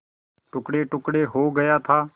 टुकड़ेटुकड़े हो गया था